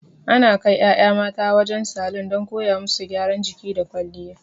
Ana kai ƴaƴa mata wajen salon don koya musu gyaran jiki da kwalliya.